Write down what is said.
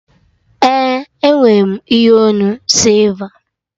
Ee, enwe m ihe onu sịlva